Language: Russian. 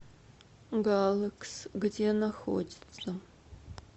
галэкс где находится